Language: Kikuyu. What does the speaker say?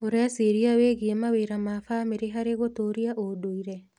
ũreciria wĩgie mawĩra ma bamĩrĩ harĩ gũtũũria ũndũire?